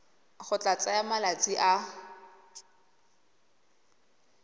go tla tsaya malatsi a